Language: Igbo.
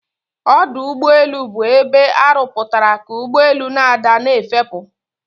Ọdọugbeelu' bụ ebe arụpụtara ka ugbọelu' na-ada na'efepu'